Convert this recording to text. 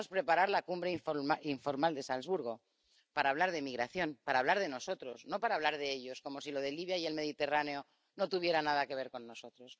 Queríamos preparar la cumbre informal de Salzburgo para hablar de migración, para hablar de nosotros, no para hablar de ellos como si lo de Libia y el Mediterráneo no tuviera nada que ver con nosotros.